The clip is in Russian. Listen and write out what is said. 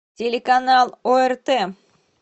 телеканал орт